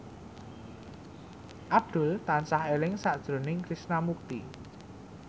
Abdul tansah eling sakjroning Krishna Mukti